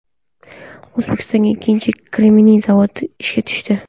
O‘zbekistonda ikkinchi kremniy zavodi ishga tushdi.